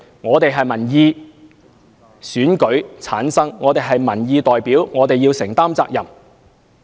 我們由選民選舉產生，是民意代表，需要承擔責任。